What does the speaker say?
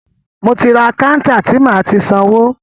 Mo ti rí kántà ti máa ti sanwó.